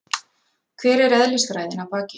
Hver er eðlisfræðin að baki?